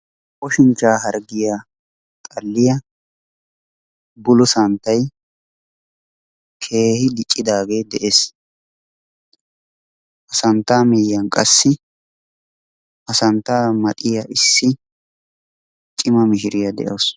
ooshinchchaa harggiyaa xalliyaa bulo santtay keehi diccidaagee de'ees. Ha santtaa miyiyaan qassi ha santtaa maxiyaa issi cima mishiriyaa de'awus.